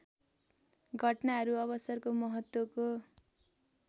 घटनाहरू अवसरको महत्त्वको